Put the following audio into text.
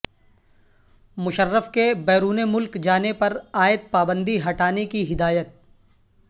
مشرف کے بیرون ملک جانے پرعائد پابندی ہٹانے کی ہدایت